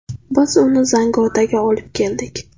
Biz uni Zangiotaga olib keldik.